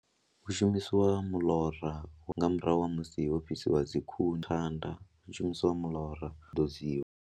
Hu shumisiwa muḽora hu nga murahu ha musi ho fhisiwa dzi khuni, thanda hu shumisiwa muḽora u ḓodziwa.